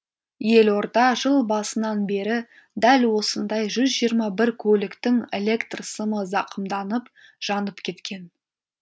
елорда жыл басынан бері дәл осындай жүз жиырма бір көліктің электр сымы зақымданып жанып кеткен